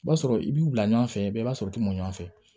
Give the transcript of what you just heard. I b'a sɔrɔ i b'u bila ɲɔgɔn fɛ bɛɛ b'a sɔrɔ u t'u ɲɔgɔn fɛ